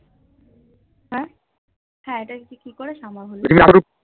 হা হ ইটা কি করে সম্ভব হলো